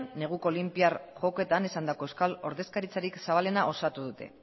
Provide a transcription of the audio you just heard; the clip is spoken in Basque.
neguko olinpiar jokoetan esandako euskal ordezkaritzarik zabalena osatu dute